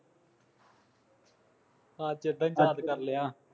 ਅੱਜ ਤਾਂ ਯਾਦ ਕਰ ਲਿਆ